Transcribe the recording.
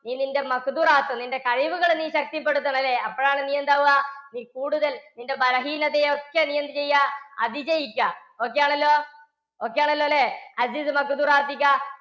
നീ നിന്റെ നിന്റെ കഴിവുകൾ നീ ശക്തിപ്പെടുത്തണം അല്ലേ? അപ്പോഴാണ് നീയെന്താ ആവുക, നീ കൂടുതൽ നിൻറെ ബലഹീനതയെ ഒക്കെ നീ എന്ത് ചെയ്യുക? അതിജയിക്കുക. okay ആണല്ലോ. Okay ആണല്ലോ അല്ലേ